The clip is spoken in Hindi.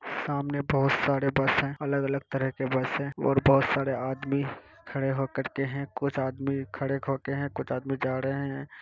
सामने बहुत सारे बस हैं| अलग-अलग तरह के बस हैं और बहुत सारे आदमी है खड़े होकर के कुछ आदमी खड़े होके हैं कुछ आदमी जा रहे हैं।